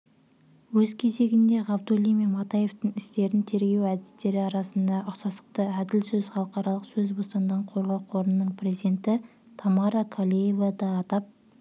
өз кезегінде ғабдуллин мен матаевтың істерін тергеу әдістері арасындағы ұқсастықты әділ сөз халықаралық сөз бостандығын қорғау қорының президентітамара калеева да атап